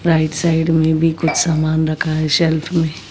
right side में भी कुछ सामान रखा है सेल्फ में--